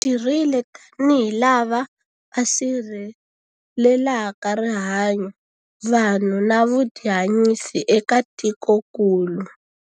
Hi tirhile tanihi lava va sirhelelaka rihanyu, vanhu na vutihanyisi eka tikokulu.